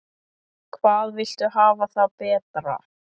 Hvað viltu hafa það betra?